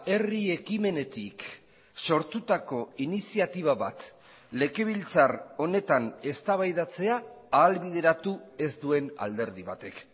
herri ekimenetik sortutako iniziatiba bat legebiltzar honetan eztabaidatzea ahalbideratu ez duen alderdi batek